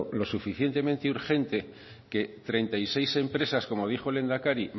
lo suficientemente urgente que treinta y seis empresas como dijo el lehendakari